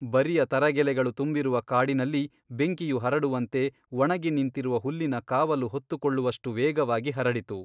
ಬರಿಯ ತರಗೆಲೆಗಳು ತುಂಬಿರುವ ಕಾಡಿನಲ್ಲಿ ಬೆಂಕಿಯು ಹರಡುವಂತೆ ಒಣಗಿ ನಿಂತಿರುವ ಹುಲ್ಲಿನ ಕಾವಲು ಹೊತ್ತುಕೊಳ್ಳುವಷ್ಟು ವೇಗವಾಗಿ ಹರಡಿತು.